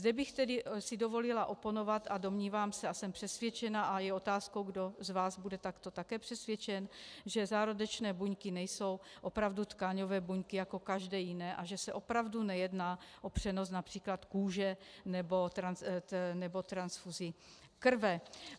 Zde bych tedy si dovolila oponovat, a domnívám se a jsem přesvědčena, a je otázkou, kdo z vás bude takto také přesvědčen, že zárodečné buňky nejsou opravdu tkáňové buňky jako každé jiné a že se opravdu nejedná o přenos například kůže nebo transfuzi krve.